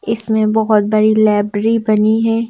इसमें बहुत बड़ी लाइब्रेरी बनी है।